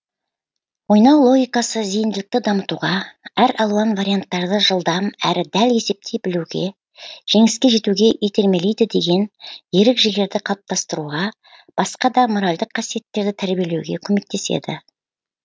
ойнау логикасы зейінділікті дамытуға әр алуан варианттарды жылдам әрі дәл есептей білуге жеңіске жетуге итермелейді деген ерік жігерді қалыптастыруға басқа да моральдық қасиеттерді тәрбиелеуге көмектеседі